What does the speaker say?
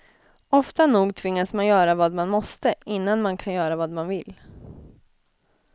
Ofta nog tvingas man göra vad man måste, innan man kan göra vad man vill.